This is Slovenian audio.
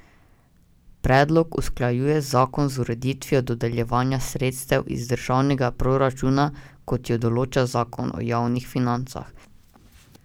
Predlog usklajuje zakon z ureditvijo dodeljevanja sredstev iz državnega proračuna, kot jo določa zakon o javnih financah.